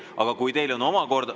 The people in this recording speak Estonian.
Aga kui teil on omakorda ...